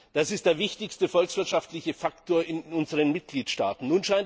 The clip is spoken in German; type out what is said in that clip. Das ist der wichtigste volkswirtschaftliche Faktor in unseren Mitgliedstaaten.